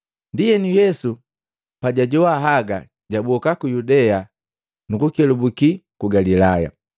Ndienu Yesu pajajowa haga jaboka ku Yudea nukukelubuki ku Galilaya.